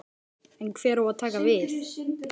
En hver á að taka við?